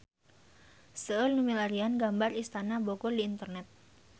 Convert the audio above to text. Seueur nu milarian gambar Istana Bogor di internet